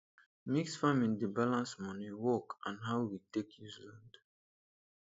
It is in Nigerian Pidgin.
mixed farming dey balance money work and how we take use land.